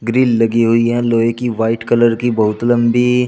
Grill लगी हुई है लोहे की वाइट कलर की बहुत लंबी।